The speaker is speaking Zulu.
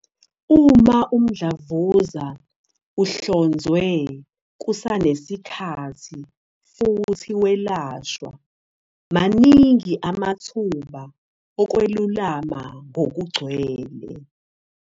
Uma umdlavuza uhlonzwe kusanesikhathi futhi welashwa, maningi amathuba okwelulama ngokugcwele.